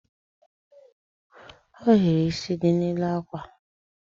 Ohiri isi dị n'elu akwa